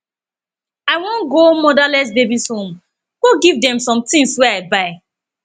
i wan go motherless babies home go give dem some things wey i buy